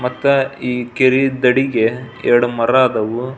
ಮತ್ತೆ ಈ ಕೆರಿ ದಡಿಗೆ ಎರಡು ಮರ ಅದಾವು.